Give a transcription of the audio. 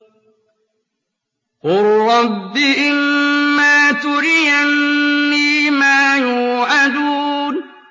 قُل رَّبِّ إِمَّا تُرِيَنِّي مَا يُوعَدُونَ